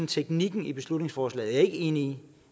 teknikken i beslutningsforslaget er jeg ikke enig i